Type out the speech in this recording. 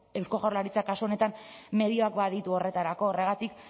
eusko jaurlaritzak kasu honetan medioak baditu horretarako horregatik